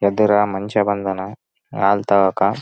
ಎದುರಾ ಮನುಷ್ಯ ಬಂದನಾ ಹಾಲ್ ತಗೋಕ--